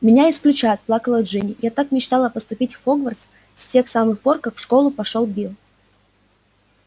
меня исключат плакала джинни я так мечтала поступить в хогвартс с тех самых пор как в школу пошёл билл